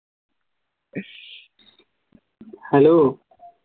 hello